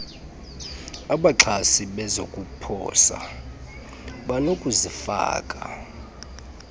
abaxhasi bezokuposa banokuzifaka